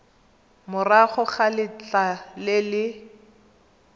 morago ga letlha le le